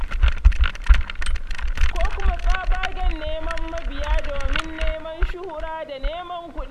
Ko kuma tsabagen neman mabiya domin neman shuhura da neman kuɗi.